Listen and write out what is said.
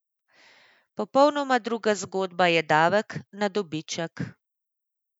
Popolnoma druga zgodba je davek na dobiček.